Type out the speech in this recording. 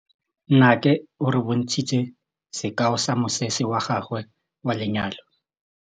Nnake o re bontshitse sekaô sa mosese wa gagwe wa lenyalo.